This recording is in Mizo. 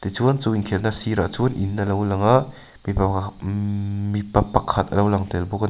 chuan chu inkhelhna sirah chuan in a lo lang a mipa pakhat a lo lang tel.